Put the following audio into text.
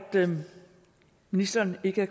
ministeren ikke